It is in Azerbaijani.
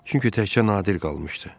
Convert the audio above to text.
Çünki təkcə Nadir qalmışdı.